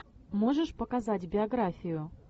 можешь показать биографию